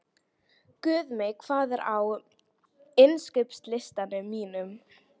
Guðmey, hvað er á innkaupalistanum mínum?